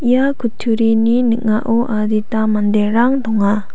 ia kutturini ning·ao adita manderang donga.